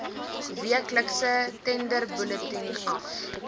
weeklikse tenderbulletin af